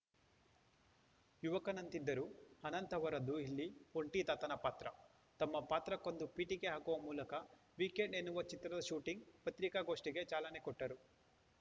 ಯುವಕನಂತಿದ್ದರೂ ಅನಂತ್‌ ಅವರದ್ದು ಇಲ್ಲಿ ಒಂಟಿ ತಾತನ ಪಾತ್ರ ತಮ್ಮ ಪಾತ್ರಕ್ಕೊಂದು ಪೀಠಿಕೆ ಹಾಕುವ ಮೂಲಕ ವೀಕೆಂಡ್‌ ಎನ್ನುವ ಚಿತ್ರದ ಶೂಟಿಂಗ್‌ ಪತ್ರಿಕಾಗೋಷ್ಟಿಗೆ ಚಾಲನೆ ಕೊಟ್ಟರು